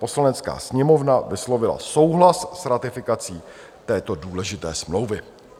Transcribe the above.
Poslanecká sněmovna vyslovila souhlas s ratifikací této důležité smlouvy.